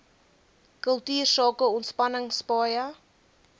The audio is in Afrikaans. kultuursake ontspanning paaie